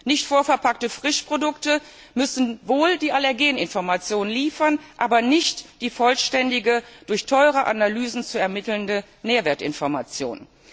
Nicht vorverpackte Frischprodukte müssen wohl die Allergen Information liefern, aber nicht die vollständige, durch teure Analysen zu ermittelnde Nährwertinformation.